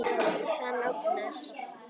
Hann ógnar.